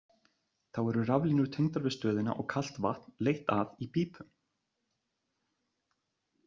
Þá eru raflínur tengdar við stöðina og kalt vatn leitt að í pípum.